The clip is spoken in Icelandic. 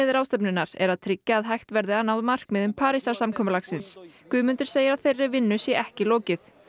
ráðstefnunni er að tryggja að hægt verði að ná markmiðum Parísarsamkomulagsins Guðmundur segir að þeirri vinnu sé ekki lokið